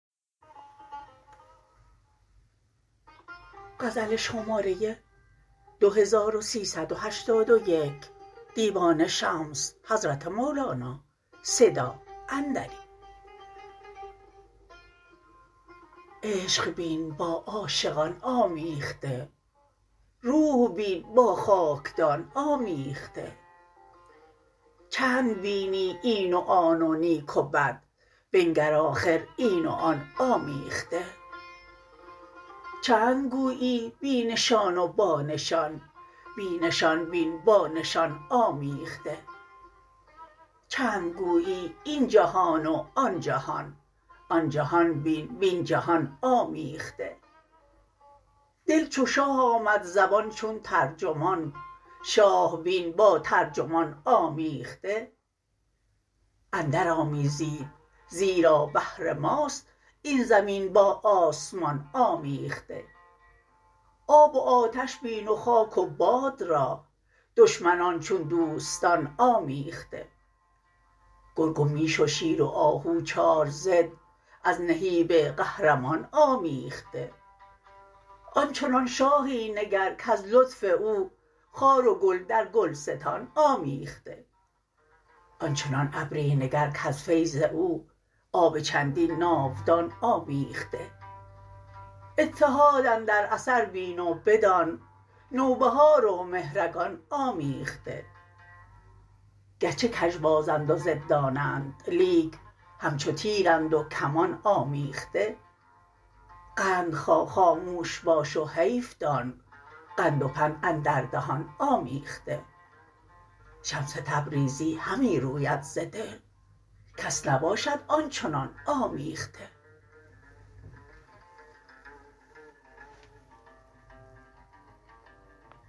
عشق بین با عاشقان آمیخته روح بین با خاکدان آمیخته چند بینی این و آن و نیک و بد بنگر آخر این و آن آمیخته چند گویی بی نشان و بانشان بی نشان بین با نشان آمیخته چند گویی این جهان و آن جهان آن جهان بین وین جهان آمیخته دل چو شاه آمد زبان چون ترجمان شاه بین با ترجمان آمیخته اندرآمیزید زیرا بهر ماست این زمین با آسمان آمیخته آب و آتش بین و خاک و باد را دشمنان چون دوستان آمیخته گرگ و میش و شیر و آهو چار ضد از نهیب قهرمان آمیخته آن چنان شاهی نگر کز لطف او خار و گل در گلستان آمیخته آن چنان ابری نگر کز فیض او آب چندین ناودان آمیخته اتحاد اندر اثر بین و بدان نوبهار و مهرگان آمیخته گرچه کژبازند و ضدانند لیک همچو تیرند و کمان آمیخته قند خا خاموش باش و حیف دان قند و پند اندر دهان آمیخته شمس تبریزی همی روید ز دل کس نباشد آن چنان آمیخته